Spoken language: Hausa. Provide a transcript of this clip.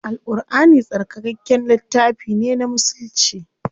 Al Ƙurʼani tsarkakakken littafi ne na musulci.